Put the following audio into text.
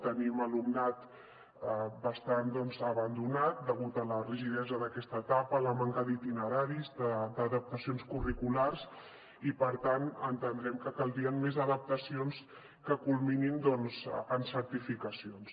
tenim alumnat bastant abandonat degut a la rigidesa d’aquesta etapa la manca d’itineraris d’adaptacions curriculars i per tant entenem que caldrien més adaptacions que culminin en certificacions